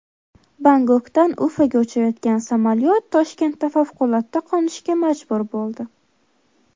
Bangkokdan Ufaga uchayotgan samolyot Toshkentda favqulodda qo‘nishga majbur bo‘ldi.